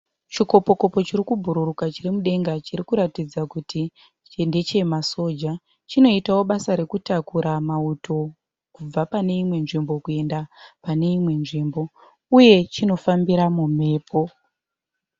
Chikopo kopo chirikubhururuka chiri mudenga, chirikuratidza kuti ndeche masoja. Chinoitawo basa rekutakura mauto kubva pane Imwe nzvimbo kuyenda pane imwe nzvimbo. Uye chino fambira mumhepo.